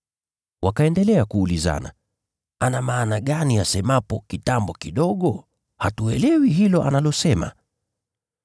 Wakaendelea kuulizana, “Ana maana gani asemapo, ‘Kitambo kidogo’ ? Hatuelewi hilo analosema.”